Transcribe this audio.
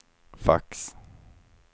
fax